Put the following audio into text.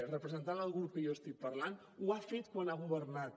representant el grup que jo estic parlant ho ha fet quan ha governat